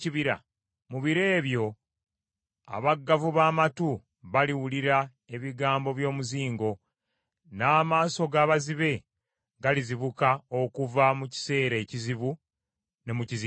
Mu biro ebyo abaggavu b’amatu baliwulira ebigambo by’omuzingo, n’amaaso g’abazibe galizibuka okuva mu kiseera ekizibu ne mu kizikiza.